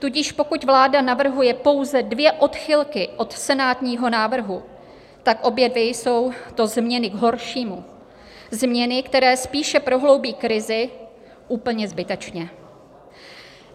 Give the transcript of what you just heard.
Tudíž pokud vláda navrhuje pouze dvě odchylky od senátního návrhu, tak obě dvě jsou to změny k horšímu, změny, které spíše prohloubí krizi, úplně zbytečně.